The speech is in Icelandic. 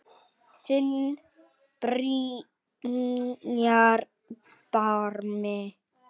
Þinn Brynjar Bjarmi.